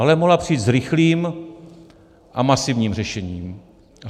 Ale mohla přijít s rychlým a masivním řešením.